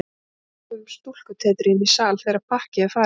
Við getum búið um stúlkutetrið inní sal þegar pakkið er farið.